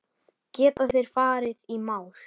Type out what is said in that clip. Geta þeir farið í mál?